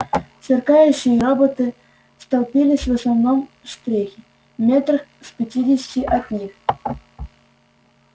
сверкающие роботы столпились в основном штреке метрах в пятидесяти от них